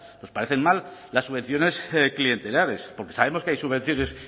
nos parecen mal las subvenciones clientelares porque sabemos que hay subvenciones